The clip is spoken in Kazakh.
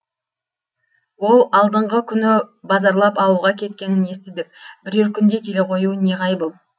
ол алдыңғы күні базарлап ауылға кеткенін естідік бірер күнде келе қоюы неғайбыл